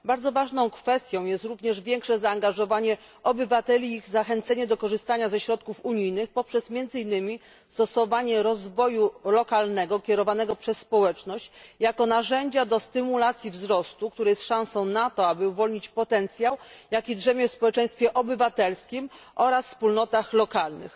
Bardzo ważną kwestią jest również większe zaangażowanie obywateli i zachęcenie ich do korzystania ze środków unijnych między innymi poprzez promowanie rozwoju lokalnego kierowanego przez społeczność jako narzędzia do stymulacji wzrostu, który jest szansą na to, aby uwolnić potencjał, jaki drzemie w społeczeństwie obywatelskim oraz wspólnotach lokalnych.